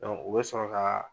o bɛ sɔrɔ ka.